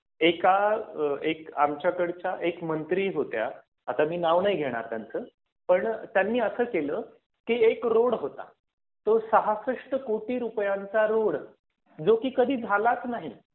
एका एक आमच्या कडच्या एक मंत्री होत्या आता मी नाव नाही घेणार त्यांचं, पण त्यांनी असं केलं की, एक रोड होता. तो सहासष्ट कोटी रुपयांचा रोड जो की कधी झालाच नाही